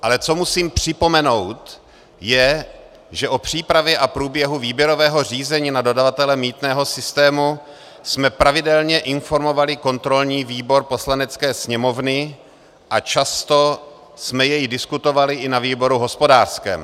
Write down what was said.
Ale co musím připomenout, je, že o přípravě a průběhu výběrového řízení na dodavatele mýtného systému jsme pravidelně informovali kontrolní výbor Poslanecké sněmovny a často jsme jej diskutovali i na výboru hospodářském.